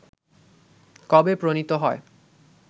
কবে প্রণীত হয়